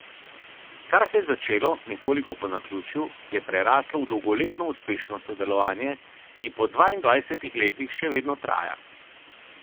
Kar se je začelo nekoliko po naključju, je preraslo v dolgoletno uspešno sodelovanje, ki po dvaindvajsetih letih še vedno traja.